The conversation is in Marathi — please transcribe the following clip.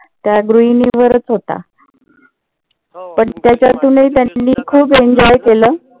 त्या गृहिणीन वरच होता. पण त्याच्यातुनही त्यांनी खूप enjoy